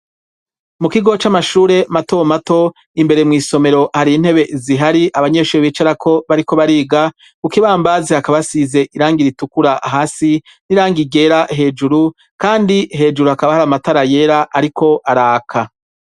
Mu kigo c'amashure mato mato imbere mw'isomero hari intebe zihari abanyeshuri bicara ko bariko bariga kukibambazi hakaba asize irangira itukura hasi n'irangigera hejuru kandi hejuru hakaba hari amatara yera ariko araka.